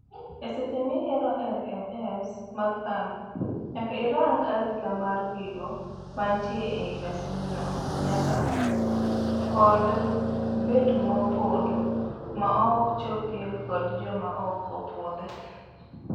Eseche miyiero LMS mar kambi, nyaka irang arita mar gigo mantie ei masindno nyaka kod kod bet mopondo maok chopie kod joma ok opuodhi.